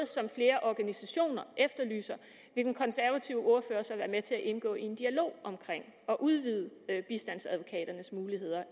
som flere organisationer efterlyser vil den konservative ordfører så være med til at indgå i en dialog omkring at udvide bistandsadvokaters muligheder